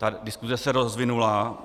Ta diskuse se rozvinula.